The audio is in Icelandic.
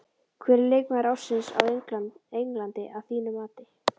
Hver er leikmaður ársins á Englandi að þínu mati?